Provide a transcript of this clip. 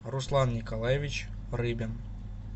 руслан николаевич рыбин